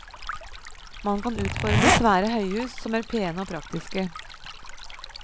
Man kan utforme svære høyhus som er pene og praktiske.